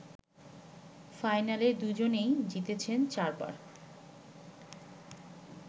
ফাইনালে দুজনেই জিতেছেন ৪ বার